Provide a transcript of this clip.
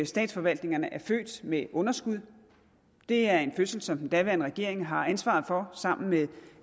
statsforvaltningerne er født med underskud det er en fødsel som den daværende regering har ansvaret for sammen med